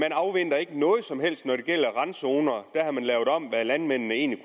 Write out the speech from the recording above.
afventer noget som helst når det gælder randzoner der har man lavet om på hvad landmændene egentlig